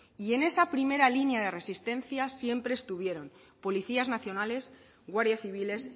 en esa primera línea de resistencia siempre estuvieron policías nacionales guardias civiles